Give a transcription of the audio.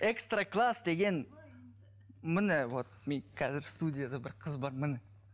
экстра класс деген міне вот мен қазір студияда бір қыз бар міне